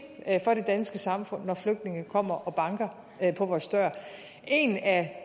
for det danske samfund når flygtninge kommer og banker på vores dør en af